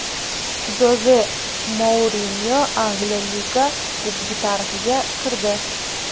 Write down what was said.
Joze Mourinyo Angliya Liga Kubogi tarixiga kirdi.